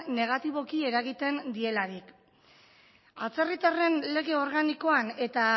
negatiboki eragiten dielarik atzerritarren lege organikoan eta